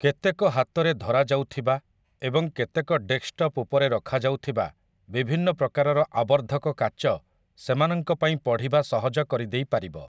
କେତେକ ହାତରେ ଧରାଯାଉଥିବା ଏବଂ କେତେକ ଡେସ୍କ୍‍ଟପ୍‍ ଉପରେ ରଖାଯାଉଥିବା ବିଭିନ୍ନ ପ୍ରକାରର ଆବର୍ଦ୍ଧକ କାଚ ସେମାନଙ୍କ ପାଇଁ ପଢ଼ିବା ସହଜ କରିଦେଇପାରିବ ।